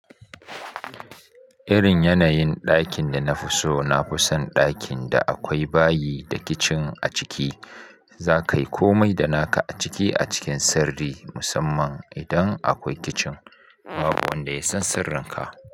Irin yanayin ɗakin dana fi so nafi son ɗakin da akwai bayi da kicin a ciki. Zaka yi komai da naka a ciki a cikin sirri musamman idan aƙwai kicin. Babu wanda ya san sirrinka.